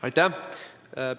Aitäh!